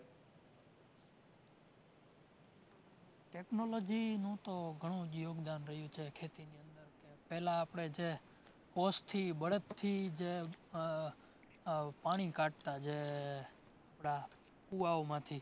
Technology નું તો ઘણું જ યોગદાન રહ્યું છે ખેતીની અંદર. કે પહેલા આપણે જે કૉસથી બળદથી ઉહ ઉહ પાણી કાઢતા જે આપણા કુંવાઓમાથી